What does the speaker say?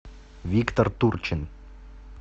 виктор турчин